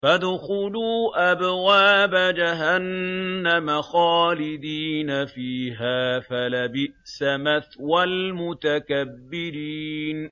فَادْخُلُوا أَبْوَابَ جَهَنَّمَ خَالِدِينَ فِيهَا ۖ فَلَبِئْسَ مَثْوَى الْمُتَكَبِّرِينَ